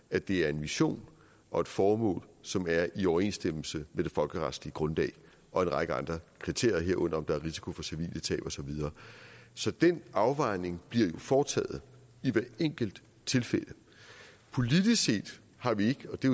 at det er en mission og et formål som er i overensstemmelse med det folkeretslige grundlag og en række andre kriterier herunder om der er risiko for civile tab og så videre så den afvejning bliver jo foretaget i hvert enkelt tilfælde politisk set har vi ikke og det